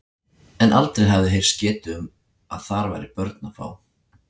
En aldrei hafði heyrst getið um að þar væri börn að fá.